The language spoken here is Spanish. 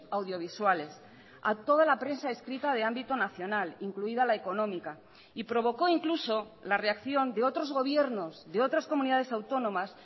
audiovisuales a toda la prensa escrita de ámbito nacional incluida la económica y provocó incluso la reacción de otros gobiernos de otras comunidades autónomas